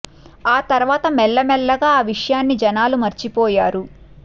ఆ తర్వాత మెల్ల మెల్లగా ఆ విషయాన్ని జనాలు మర్చి పోయారు